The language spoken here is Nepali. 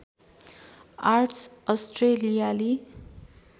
आर्ट्स अस्ट्रेलियाली